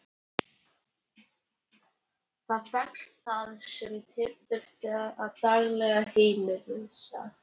Þar fékkst það sem til þurfti í daglegt heimilishald.